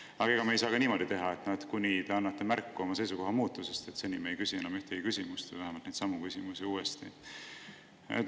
Aga ega me ei saa ka niimoodi teha, et kuni te annate märku oma seisukoha muutusest, me ei küsi enam ühtegi küsimust või vähemalt neidsamu küsimusi uuesti.